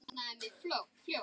Svona var Gunnar.